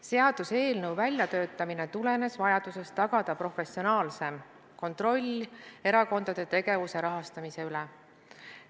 Seaduseelnõu väljatöötamine tulenes vajadusest tagada professionaalsem kontroll erakondade tegevuse rahastamise üle.